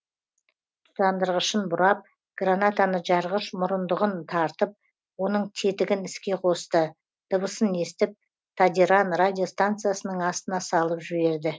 тұтандырғышын бұрап гранатаны жарғыш мұрындығын тартып оның тетігін іске қосты дыбысын естіп тадиран радиостанциясының астына салып жіберді